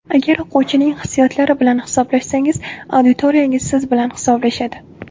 Agar o‘quvchining hissiyotlari bilan hisoblashsangiz, auditoriyangiz siz bilan hisoblashadi.